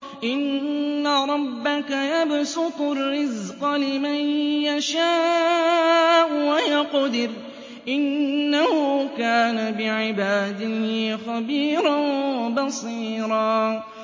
إِنَّ رَبَّكَ يَبْسُطُ الرِّزْقَ لِمَن يَشَاءُ وَيَقْدِرُ ۚ إِنَّهُ كَانَ بِعِبَادِهِ خَبِيرًا بَصِيرًا